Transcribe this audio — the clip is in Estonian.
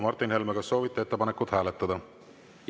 Martin Helme, kas soovite ettepanekut hääletada?